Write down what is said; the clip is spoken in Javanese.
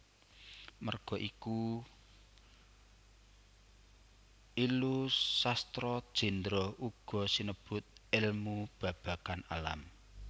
Merga iku Illu Sastra Jendra uga sinebut èlmu babagan alam